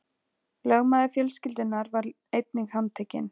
Lögmaður fjölskyldunnar var einnig handtekinn